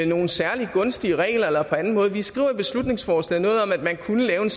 nogle særlig gunstige regler eller på anden måde vi skriver i beslutningsforslaget noget om at man kunne lave en